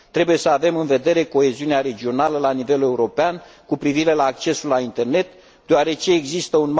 Trebuie să avem în vedere coeziunea regională la nivel european cu privire la accesul la internet, deoarece există un mare risc de creare a